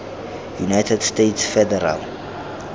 united states federal